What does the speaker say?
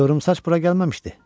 Qıvrımsaç bura gəlməmişdi?